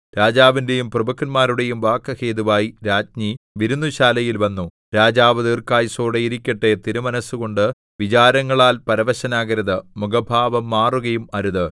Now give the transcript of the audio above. രാജാവിന്റെയും പ്രഭുക്കന്മാരുടെയും വാക്കു ഹേതുവായി രാജ്ഞി വിരുന്നുശാലയിൽ വന്നു രാജാവ് ദീർഘായുസ്സായിരിക്കട്ടെ തിരുമനസ്സുകൊണ്ട് വിചാരങ്ങളാൽ പരവശനാകരുത് മുഖഭാവം മാറുകയും അരുത്